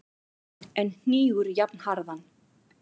en hnígur jafnharðan.